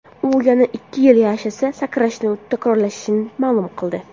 U yana ikki yil yashasa, sakrashni takrorlashini ma’lum qildi.